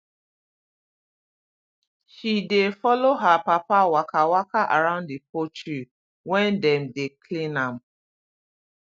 she dey follow her papa waka waka around the poultry when dem dey clean am